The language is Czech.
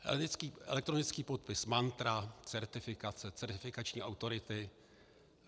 Elektronický podpis, mantra, certifikace, certifikační autority.